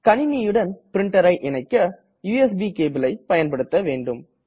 கணினியுடன் printerஐ இணைக்க யுஎஸ்பி cableஐ பயண்படுத்த வேண்டும்